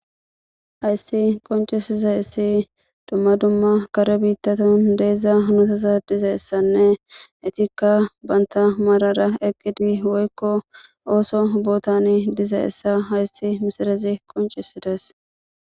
Hayssi qoncisize issi dumma dumma kare biittaton deezza hunutasa dizeessanne etikka banta marara eqqidi woykko ooso bootani dizeessa hayssi misirezi qoncisides.